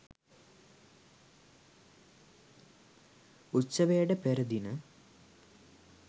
උත්සවයට පෙර දින